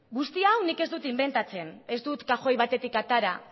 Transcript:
guzti hau nik ez dut inbentatzen ez dut kajoi batetik atera